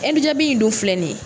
Ɛndu jabi in dun filɛ nin ye